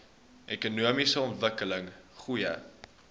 ekonomiese ontwikkeling goeie